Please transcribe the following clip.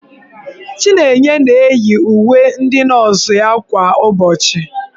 Chinenye na-eyi uwe ndị nọọsụ ya kwa ụbọchị.